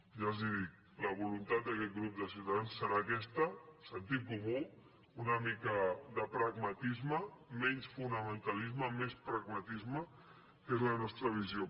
ja els ho dic la voluntat d’aquest grup de ciutadans serà aquesta sentit comú una mica de pragmatisme menys fonamentalisme més pragmatisme que és la nostra visió